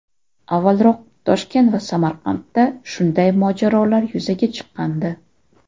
Avvalroq Toshkent va Samarqandda shunday mojarolar yuzaga chiqqandi.